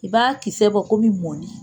I b'a kisɛ bɔ komi mɔni.